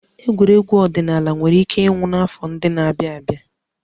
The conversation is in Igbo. Egwuregwu ọdịnala nwere ike ịnwụ n'afọ ndị na-abịa